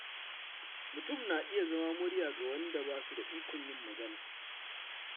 Mutum na iya zama murya ga waɗanda ba su da ikon yin magana.